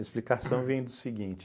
A explicação vem do seguinte.